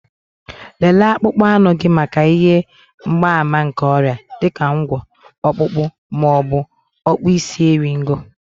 Lelee akpụkpọ ahụ gị maka ihe mgbaàmà nke ọrịa, dị ka ụgwọ̀, Ọkpụkpụ, ma ọ bụ okpuisieriego